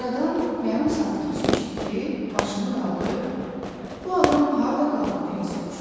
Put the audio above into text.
Aradan yarım saat keçmişdi ki, başını qaldırıb, bu adam harda qaldı deyə soruşdu.